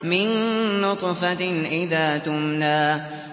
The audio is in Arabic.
مِن نُّطْفَةٍ إِذَا تُمْنَىٰ